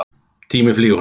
Tíminn flýgur hratt.